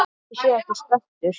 Hvort ég sé ekki spennt?